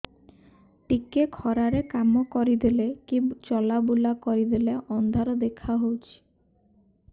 ଟିକେ ଖରା ରେ କାମ କରିଦେଲେ କି ଚଲବୁଲା କରିଦେଲେ ଅନ୍ଧାର ଦେଖା ହଉଚି